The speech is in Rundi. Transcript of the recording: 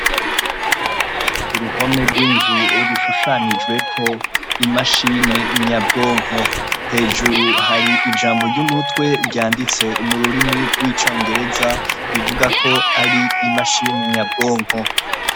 Uruhome rw’inzu rushushanijweko imashine nyabwonko, hejuru hari ijambo ry’umutwe ryanditse mu rurimi rw’icongereza ruvugako ari imashini nyabwonko .